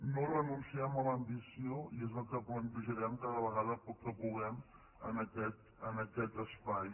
no renunciem a l’ambició i és el que plantejarem cada vegada que puguem en aquest espai